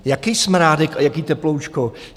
Jaký smrádek a jaké teploučko?